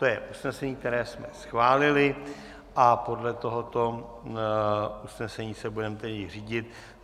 To je usnesení, které jsme schválili, a podle tohoto usnesení se tedy budeme řídit.